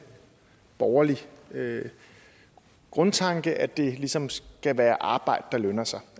borgerlig grundtanke at det ligesom skal være arbejde der lønner sig